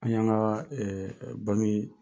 An y'an ka banki